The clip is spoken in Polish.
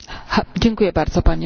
Panie Przewodniczący!